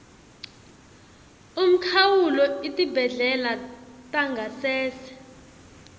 umkhawulo etibhedlela tangasese